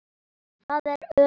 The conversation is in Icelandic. Það er öruggt.